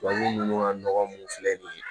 Tubabu ninnu ka nɔgɔ munnu filɛ nin ye